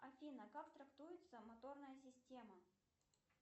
афина как трактуется моторная система